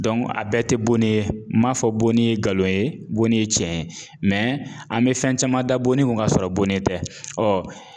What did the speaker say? a bɛɛ tɛ bo ne ye n m'a fɔ bonni ye nkalon ye bon ne ye tiɲɛ ye an bɛ fɛn caman bonni kun k'a sɔrɔ bonni tɛ